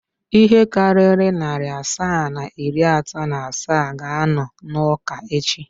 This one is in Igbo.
Ihe karịrị narị asaa na iri atọ na asaa ga-anọ n'ụka echi.